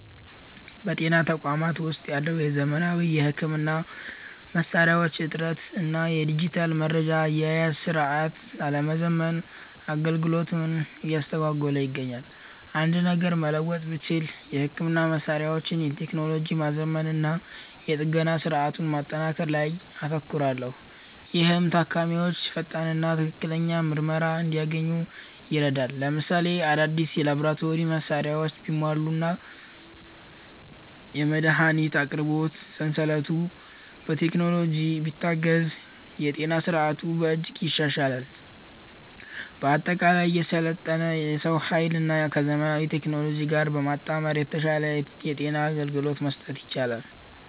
በጤና ተቋማት ውስጥ ያለው የዘመናዊ ሕክምና መሣሪያዎች እጥረት እና የዲጂታል መረጃ አያያዝ ሥርዓት አለመዘመን አገልግሎቱን እያስተጓጎለ ይገኛል። አንድ ነገር መለወጥ ብችል፣ የሕክምና መሣሪያዎችን ቴክኖሎጂ ማዘመንና የጥገና ሥርዓቱን ማጠናከር ላይ አተኩራለሁ፤ ይህም ታካሚዎች ፈጣንና ትክክለኛ ምርመራ እንዲያገኙ ይረዳል። ለምሳሌ፣ አዳዲስ የላቦራቶሪ መሣሪያዎች ቢሟሉና የመድኃኒት አቅርቦት ሰንሰለቱ በቴክኖሎጂ ቢታገዝ የጤና ሥርዓቱን በእጅጉ ያሻሽለዋል። በአጠቃላይ፣ የሰለጠነ የሰው ኃይልን ከዘመናዊ ቴክኖሎጂ ጋር በማጣመር የተሻለ የጤና አገልግሎት መስጠት ይቻላል።